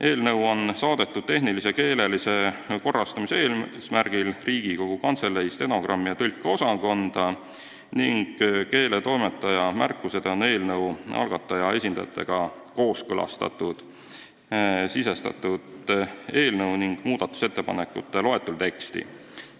Eelnõu saadeti tehnilise ja keelelise korrastamise eesmärgil Riigikogu Kantselei stenogrammi- ja tõlkeosakonda ning keeletoimetaja märkused on eelnõu algataja esindajatega kooskõlastatult sisestatud eelnõu ning muudatusettepanekute loetelu teksti.